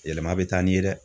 Yɛlɛma bɛ taa ni ye dɛ.